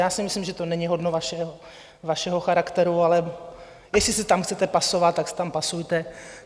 Já si myslím, že to není hodno vašeho charakteru, ale jestli se tam chcete pasovat, tak se tam pasujte.